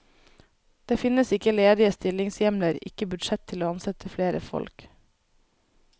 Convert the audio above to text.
Det finnes ikke ledige stillingshjemler, ikke budsjett til å ansette flere folk.